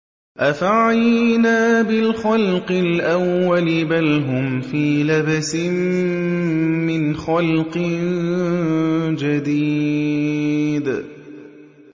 أَفَعَيِينَا بِالْخَلْقِ الْأَوَّلِ ۚ بَلْ هُمْ فِي لَبْسٍ مِّنْ خَلْقٍ جَدِيدٍ